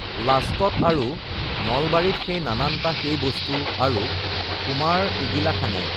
লাষ্টত আৰু নলবাৰীত সেই নাননটা সেই বস্তু আৰু কুমাৰঈগিলাখানে